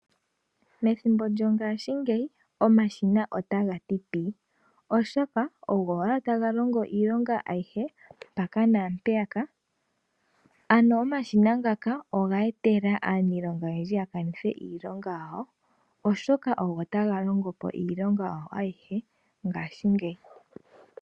Methimbo lyongaashingeyi omashina otagati pii oshoka ogo owala taga longo iilonga ayihe mpaka naampeyaka ,ano omashina ngaka oga etela aaniilonga oyendji ya kanithe iilonga yawo oshoka ogo tagalongopo iilonga yawo ayihe ngaashi ngeyi.